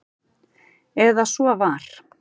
Eða svo var.